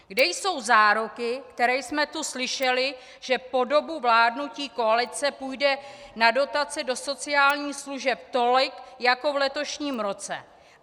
Kde jsou záruky, které jsme tu slyšeli, že po dobu vládnutí koalice půjde na dotace do sociálních služeb tolik jako v letošním roce?